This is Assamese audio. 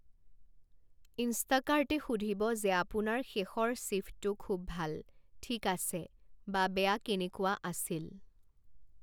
ইনষ্টাকাৰ্টে সুধিব যে আপোনাৰ শেষৰ শ্বিফ্টটো খুউব ভাল, ঠিক আছে, বা বেয়া কেনেকুৱা আছিল।